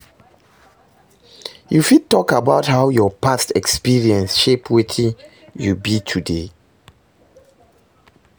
You fit talk about how your past experiences shape wetin you be today?